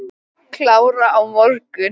Klára á morgun.